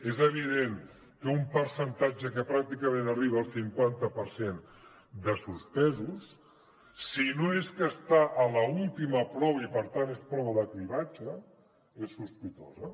és evident que un percentatge que pràcticament arriba al cinquanta per cent de suspesos si no és que està a l’última prova i per tant és prova de cribratge és sospitosa